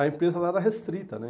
A empresa lá era restrita, né?